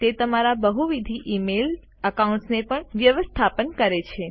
તે તમારા બહુવિધ ઇમેઇલ એકાઉન્ટ્સને પણ વ્યવસ્થાપન કરે છે